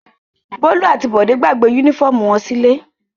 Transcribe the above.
Bólú àti Bọ́lá gbàgbé únífọ́ọ́mù wọn sílé.